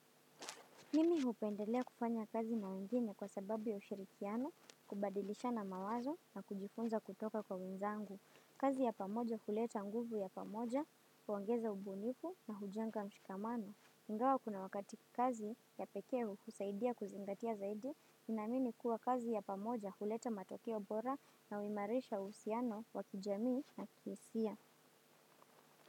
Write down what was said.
Mimi hupendelea kufanya kazi na wengine kwa sababu ya ushirikiano, kubadilisha na mawazo na kujifunza kutoka kwa wenzangu. Kazi ya pamoja huleta nguvu ya pamoja, huongeza ubunifu na hujenga mshikamano. Ingawa kuna wakati kazi ya pekee hukusaidia kuzingatia zaidi, namini kuwa kazi ya pamoja huleta matokeo bora na huimarisha uhusiano wa kijamii na kihisia.